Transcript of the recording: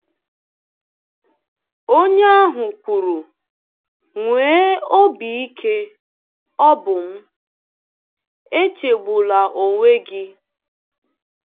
Onye ahụ kwuru: “Nwee obi ike, ọ̀ bụ m; echegbula onwe-gị.”